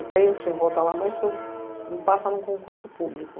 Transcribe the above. Eu penso em voltar lá, mas isso me passa em um concurso público.